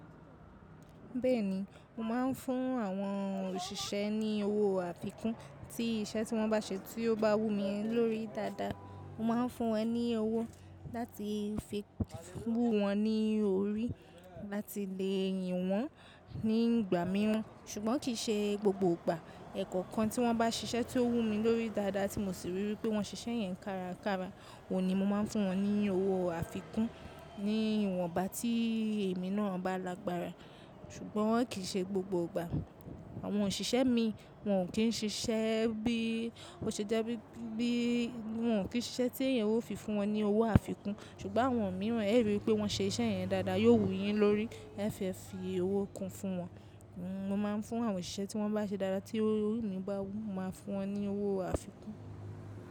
Bẹ́ẹ̀ni, mo máa ń fún àwọn òṣìṣẹ́ ní owó àfikún tí iṣẹ́ tí wọ́n bá ṣe tí ó bá wù mí lórí dáadáa. Mo máa ń fún wọn ní owó láti fi wù wọ́n ní orí láti lè yìn wọ́n nígbà mìíràn ṣùgbọ́n kì í ṣe gbogbo ìgbà. Ẹ̀kọ́ kan tí wọ́n bá ṣiṣẹ́ tí ó wù mí lórí dáadáa tí mo sì ríi wí pé wọ́n ṣiṣẹ́ yẹn kárakára, ò ní mo máa fún wọn ní owó àfikún ní ìwọ̀nba tí èmi náà bá lágbára. Ṣùgbọ́n kì í ṣe gbogbo ìgbà. Àwọn òṣìṣẹ́ mi wọn ò kí ń ṣiṣẹ́ bí, ó ṣe jẹ́ wípé wọ́n ò kí ń ṣiṣẹ́ tí èyí ó fi fún wọn ní owó àfikún. Ṣùgbọ́n àwọn mìíràn ẹ ríi wí pé wọ́n ṣe iṣẹ́ yẹn dáadáa yóò wù yín lórí ẹ fẹ́ fi owó kún fún wọn. Mo máa ń fún àwọn òṣìṣẹ́ tí wọ́n bá ṣe dáadáa tí owó mi bá wù mí máa fún wọn ní owó àfikún.